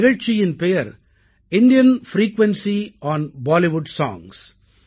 இந்த நிகழ்ச்சியின் பெயர் இந்தியன் பிரீகுயன்சி ஒன் பாலிவுட் சோங்ஸ்